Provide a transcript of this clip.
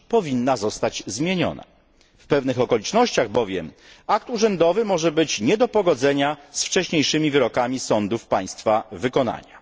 W pewnych okolicznościach bowiem akt urzędowy może być nie do pogodzenia z wcześniejszymi wyrokami sądów państwa wykonania.